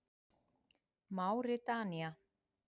Máritanía